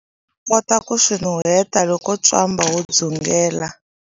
Xana u kota ku swi nuheta loko ntswamba wu dzungela?